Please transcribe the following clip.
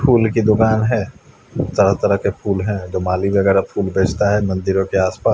फूल की दुकान है तरह तरह के फूल है माली वगेरा फूल बेचता है मंदिरों के आस पास --